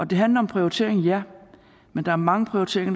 det handler om prioritering ja men der er mange prioriteringer